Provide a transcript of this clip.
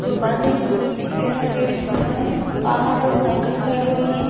जो बंद है एक चैनल गेट खुला है बाहर दो साइकिल खड़ी हुई है।